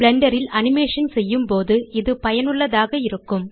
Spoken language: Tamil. பிளெண்டர் ல் அனிமேஷன் செய்யும்போது இது பயனுள்ளதாக இருக்கும்